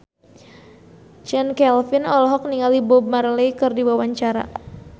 Chand Kelvin olohok ningali Bob Marley keur diwawancara